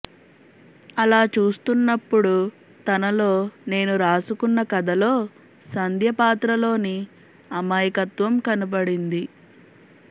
అలా చూస్తున్నపుడు తనలో నేను రాసుకున్న కథలో సంధ్య పాత్రలోని అమాయకత్వం కనపడింది